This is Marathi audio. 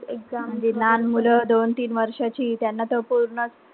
म्हणजे लहान मुलं दोन-तीन वर्षाची त्यांना तर पूर्णच,